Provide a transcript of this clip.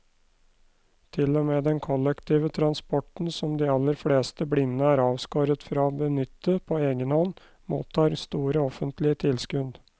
Til og med den kollektive transporten som de aller fleste blinde er avskåret fra å benytte på egen hånd, mottar store offentlige tilskudd.